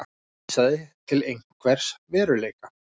vísaði til einhvers veruleika.